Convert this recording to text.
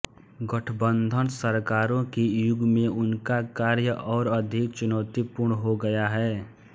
गठबंधन सरकारों के युग में उनका कार्य और अधिक चुनौतीपूर्ण हो गया है